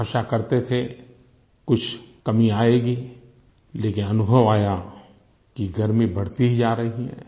आशा करते थे कुछ कमी आयेगी लेकिन अनुभव आया कि गर्मी बढ़ती ही जा रही है